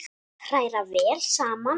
Hræra vel saman.